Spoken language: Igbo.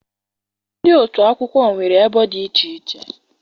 Ndị otu agụmakwụkwọ nwere ebo dị iche iche.